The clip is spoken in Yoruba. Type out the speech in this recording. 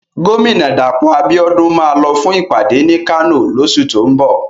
Gómìnà Dàpọ̀ Abíọ́dún máa lọ fún ìpàdé ní Kano lóṣù tó ń bọ̀.